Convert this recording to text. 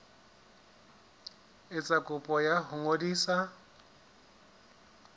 etsa kopo ya ho ngodisa